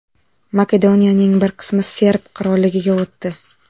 Makedoniyaning bir qismi Serb qirolligiga o‘tdi.